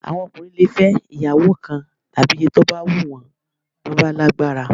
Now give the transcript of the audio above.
Àwọn ọkùnrin lè fẹ́ ìyàwó kan tàbí iye tó bá wùn wọ́n bí wọ́n bá lágbára